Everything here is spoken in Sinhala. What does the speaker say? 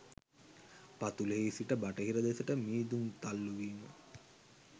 පතුලෙහි සිට බටහිර දෙසට මීදුම් තල්ලූවීම